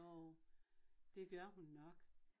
Jo det gør hun nok